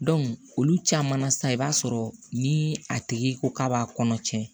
olu caman na sisan i b'a sɔrɔ ni a tigi ko k'a b'a kɔnɔ cɛn